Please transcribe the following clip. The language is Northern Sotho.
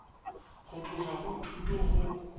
go tloga go thuto go